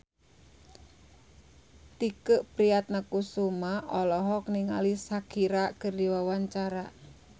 Tike Priatnakusuma olohok ningali Shakira keur diwawancara